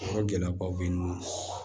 Yɔrɔ gɛlɛyabaw bɛ